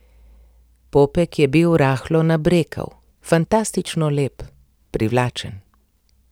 Popek je bil rahlo nabrekel, fantastično lep, privlačen.